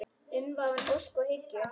Umvafin ósk og hyggju.